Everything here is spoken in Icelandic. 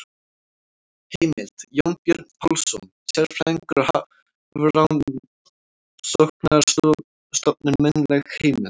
Heimild: Jónbjörn Pálsson, sérfræðingur á Hafrannsóknarstofnun- munnleg heimild.